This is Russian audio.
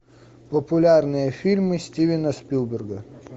популярные фильмы стивена спилберга